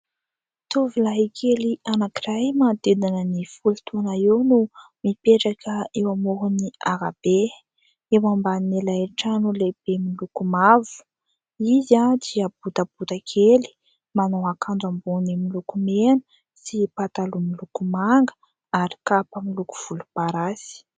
Tovolahikely anankiray manodidina ny folo taona eo no mipetraka eo amoron'ny arabe. Eo ambanin'ilay trano lehibe miloko mavo. Izy dia botabota kely manao akanjo ambony miloko mena sy pataloha miloko manga ary kapa miloko volomparasy.